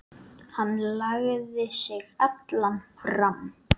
Hann lagði sig allan fram.